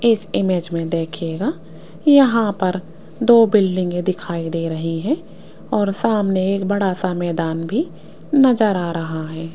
इस इमेज में देखिएगा यहां पर दो बिल्डिंगे के दिखाई दे रही हैं और सामने एक बड़ा सा मैदान भी नजर आ रहा है।